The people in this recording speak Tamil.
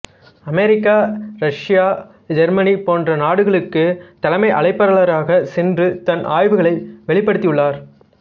அமெரிக்காரஷ்யாஜெர்மனி போன்ற நாடுகளுக்கு தலைமை அழைப்பாளராக சென்று தன் ஆய்வுகளை வெளிப்படுத்தியுள்ளார்